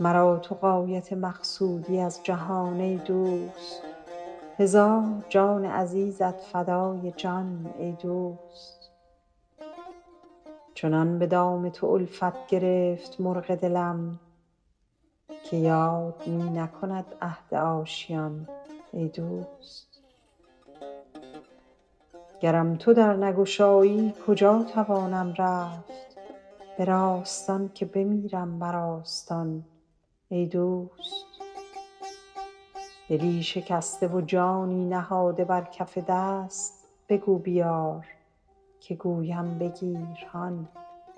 مرا تو غایت مقصودی از جهان ای دوست هزار جان عزیزت فدای جان ای دوست چنان به دام تو الفت گرفت مرغ دلم که یاد می نکند عهد آشیان ای دوست گرم تو در نگشایی کجا توانم رفت به راستان که بمیرم بر آستان ای دوست دلی شکسته و جانی نهاده بر کف دست بگو بیار که گویم بگیر هان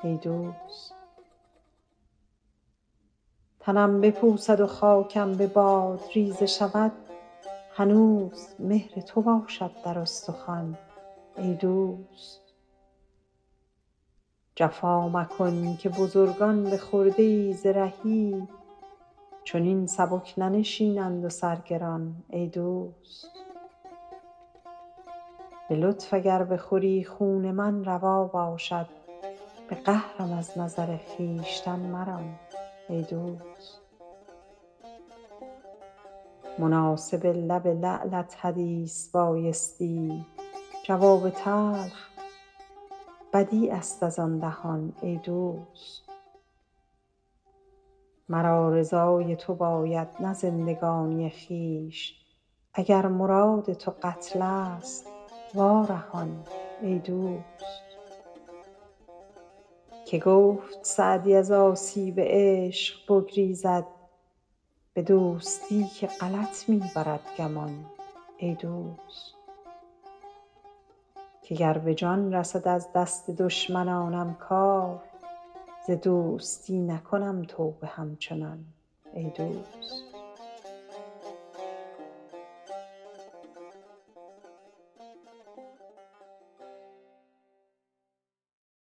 ای دوست تنم بپوسد و خاکم به باد ریزه شود هنوز مهر تو باشد در استخوان ای دوست جفا مکن که بزرگان به خرده ای ز رهی چنین سبک ننشینند و سر گران ای دوست به لطف اگر بخوری خون من روا باشد به قهرم از نظر خویشتن مران ای دوست مناسب لب لعلت حدیث بایستی جواب تلخ بدیع است از آن دهان ای دوست مرا رضای تو باید نه زندگانی خویش اگر مراد تو قتل ست وا رهان ای دوست که گفت سعدی از آسیب عشق بگریزد به دوستی که غلط می برد گمان ای دوست که گر به جان رسد از دست دشمنانم کار ز دوستی نکنم توبه همچنان ای دوست